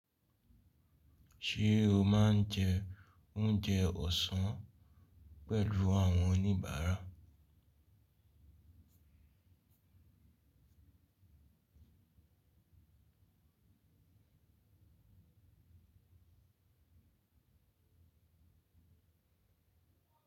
Ṣé o máa ń jẹ oúnjẹ ọ̀sán pẹ̀lú àwọn oníbàárà?